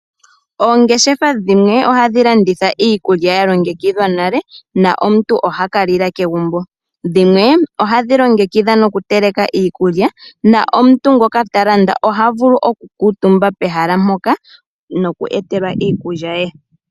Oongeshefa dhimwe ohadhi landitha iikulya ya longekidhwa nale omuntu ohaka lila kegumbo, dhimwe ohadhi longekidha noku teleka iikulya omuntu ngoka ta landa oha vulu okukutumba pehala mpoka noku etelwa iikulya ye.